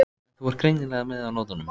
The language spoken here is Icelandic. En þú ert greinilega með á nótunum.